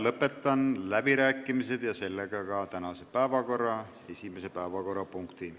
Lõpetan läbirääkimised ja sellega ka tänase päevakorra esimese päevakorrapunkti arutelu.